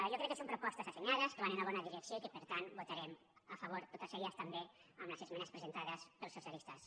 jo crec que són propostes assenyades que van en la bona direcció i que per tant votarem a favor de totes elles també amb les esmenes presentades pels socialistes